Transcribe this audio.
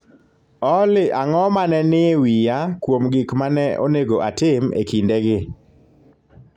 Olly ang'o ma ne nie wiya kuom gik ma ne onego atim e kindegi